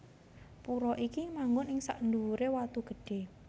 Pura iki manggon ing sandhuwuré watu gedhé